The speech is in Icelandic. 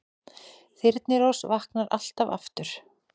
Þyrnirós vaknar alltaf aftur